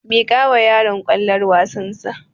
Miƙawa yaron kwallon wasar sa